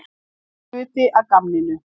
Það var hluti af gamninu.